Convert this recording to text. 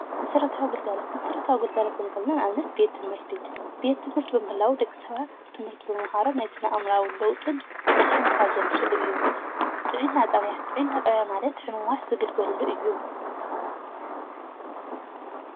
መስረታዊ ግልጋሎት ፣ መስረታዊ ግልጋሎት ኽንብል ከለና ንኣብነት ቤት ትሞህርቲ ሰባት ብምምሃሮሞ ናይ ስነ ኣእምራዊ ለውጢ ዘምፅእሉ እዩ። ጥዕና ጣብዩ ጣብያ ማለት ሕሙማት ዝግልገልሉ እዩ።